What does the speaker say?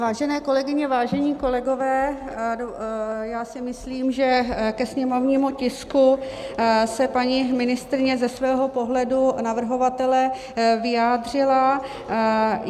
Vážené kolegyně, vážení kolegové, já si myslím, že ke sněmovnímu tisku se paní ministryně ze svého pohledu navrhovatele vyjádřila.